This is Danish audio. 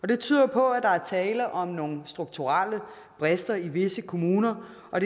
det tyder jo på at der er tale om nogle strukturelle brister i visse kommuner og